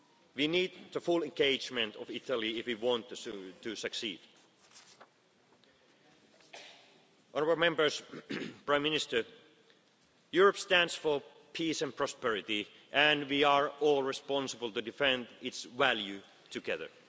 ahead. We need the full engagement of Italy if we want to succeed. Honourable Members, Prime Minister, Europe stands for peace and prosperity and we are all responsible for defending its values together.